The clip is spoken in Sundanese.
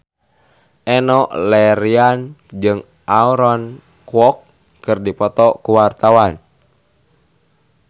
Enno Lerian jeung Aaron Kwok keur dipoto ku wartawan